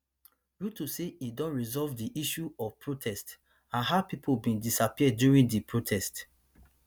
ruto say e don resolve di issue of protest and how pipo bin disappear during di protest